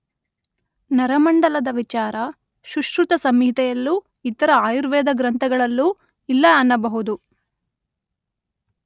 ನರಮಂಡಲದ ವಿಚಾರ ಸುಶ್ರುತಸಂಹಿತೆಯಲ್ಲೂ ಇತರ ಆಯುರ್ವೇದ ಗ್ರಂಥಗಳಲ್ಲೂ ಇಲ್ಲ ಅನ್ನಬಹುದು.